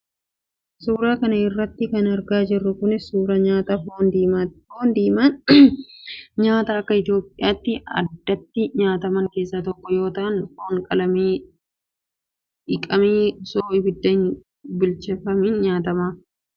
Suura kana irratti kan argaa jirru kun, suura nyaata foon diimaati. Foon diimaan nyaata akka Itoophiyaatti addatti nyaataman keessaa tokko yoo ta'an, foon qalamee dhiqamee osoo ibiddaan hin bilcheeffamin nyaatama. Foon diimaan kun, awaazeen nyaatama.